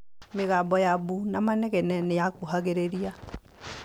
Mĩgambo ya mbu na manegene nĩ yakuhĩrĩiragia. i